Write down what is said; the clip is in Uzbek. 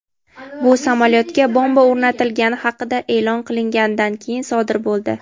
Bu samolyotga bomba o‘rnatilgani haqida e’lon qilinganidan keyin sodir bo‘ldi.